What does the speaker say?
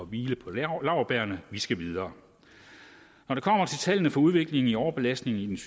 hvile på laurbærrene vi skal videre når det kommer til tallene for udviklingen i overbelastning i det